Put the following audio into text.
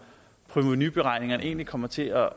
provenuberegningerne egentlig kommer til at